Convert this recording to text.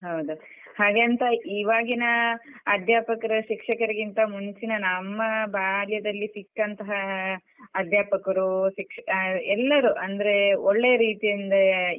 ಹೌದು ಹಾಗೆಂತ ಇವಾಗಿನ ಅಧ್ಯಾಪಕರು ಶಿಕ್ಷರಿಗಿಂತ ಮುಂಚಿನ ನಮ್ಮ ಬಾಲ್ಯದಲ್ಲಿ ಸಿಕ್ಕಂತಹ ಅಧ್ಯಾಪಕರು ಶಿಕ್ಷ ಹ ಎಲ್ಲರೂ ಅಂದ್ರೆ ಒಳ್ಳೆಯ ರೀತಿಯಿಂದ.